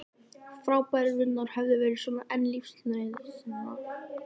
Fráfærurnar höfðu verið og voru enn lífsnauðsyn.